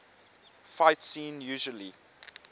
fight scene usually